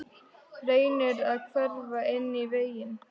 Reynir að hverfa inn í vegginn.